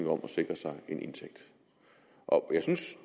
om at sikre sig en indtægt og jeg synes